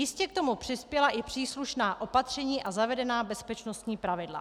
Jistě k tomu přispěla i příslušná opatření a zavedená bezpečnostní pravidla.